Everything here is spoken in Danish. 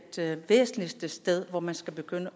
det væsentligste sted hvor man skal begynde